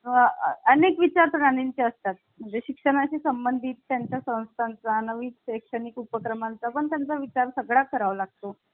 अनेक विचारांचे असतात म्हणजे शिक्षणा शी संबंधित यांचा संस्थांचा नवीन शैक्षणिक उपक्रमांचा पण त्यांचा विचार सगळ्या करावा लागतो